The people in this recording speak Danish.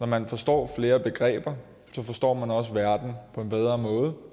man forstår flere begreber forstår man også verden på en bedre måde